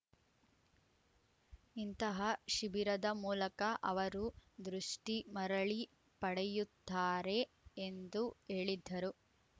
ಇಂತಹ ಶಿಬಿರದ ಮೂಲಕ ಅವರು ದೃಷ್ಟಿಮರಳಿ ಪಡೆಯುತ್ತಾರೆ ಎಂದು ಹೇಳಿದ್ದರು